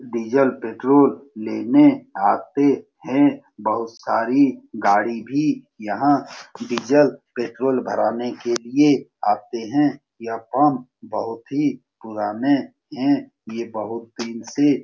Diesel petrol लेने आते हैं । बहुत सारी गाड़ी भी यहाँ डीजल पेट्रोल भराने के लिए आते हैं । यह पंप बहुत ही पुराने हैं। ये बहुत दिन से --